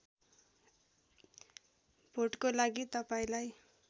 भोटको लागि तपाईँलाई